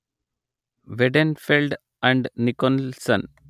Weidenfeld and Nicolson